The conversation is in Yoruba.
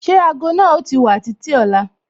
Ṣé ago náà o ti wà títí ọ̀la?